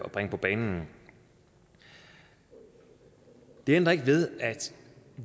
bringe på banen det ændrer ikke ved at